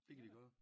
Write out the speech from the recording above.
Det kan de gøre